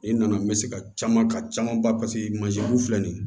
I nana n bɛ se ka caman ka caman ba filɛ nin